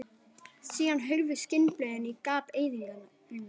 Síðan hurfu skinnblöðin í gap eyðingarinnar.